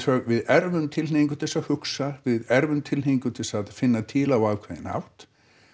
við erfum tilhneigingu til að hugsa við erfum tilhneigingu til þess að finna til á ákveðinn hátt